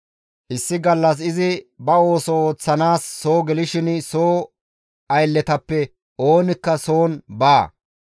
Issi gallas izi ba ooso ooththanaas soo gelishin soo aylletappe oonikka soon baawa.